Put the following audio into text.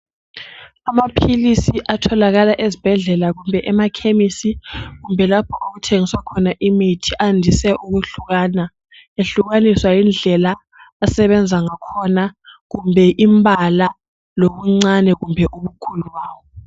Amaphilisi atholakala ezibhedlela kumbe emakhemisi kumbe lapho okuthengiswa khona imithi andise ukuhlukana ehlukaniswa yindlela asebenza ngakhona kumbe imbala lobuncane kumbe ubukhulu bawo.